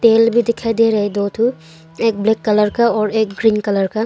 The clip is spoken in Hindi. एल भी दिखाई दे रहा है दो ठो एक ब्लैक कलर का और एक ग्रीन कलर का।